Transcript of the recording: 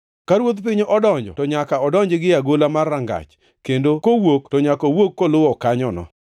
Ka ruodh piny donjo to nyaka odonji gie agola mar rangach, kendo kowuok to nyaka owuog koluwo kanyono.